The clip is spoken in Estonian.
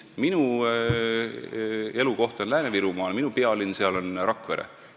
Minu elukoht on Lääne-Virumaal, minu pealinn seal on Rakvere.